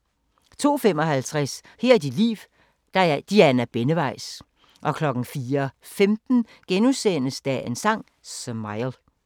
02:55: Her er dit liv – Diana Benneweis 04:15: Dagens Sang: Smile *